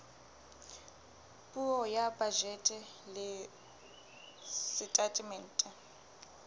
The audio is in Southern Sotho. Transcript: puo ya bajete le setatemente